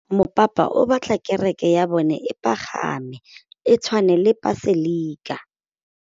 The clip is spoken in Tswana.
Mopapa o batla kereke ya bone e pagame, e tshwane le paselika.